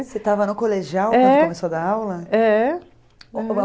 Você estava no colegial quando começou a dar aula? É